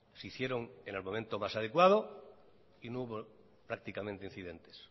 se hicieron en el momento más adecuado y no hubo prácticamente incidentes